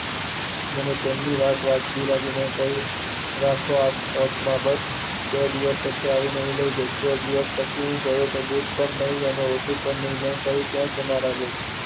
મને તેમની વાત વ્યાજબી લાગી, મને કહીંયુ આવો ઓથ માં બસ બે દિવસ પછી લઇ જઈશ, બે દિવસ જોયું તો બુટ પણ નહીં ઉઠું પણ નહીં, જવી ક્યાં ના રહી.